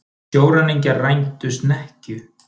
Sjóræningjar rændu snekkju